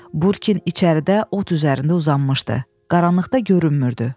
Burkin içəridə ot üzərində uzanmışdı, qaranlıqda görünmürdü.